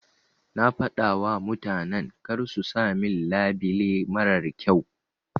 Na fadawa mutanan karsu sa min labile marar kyau.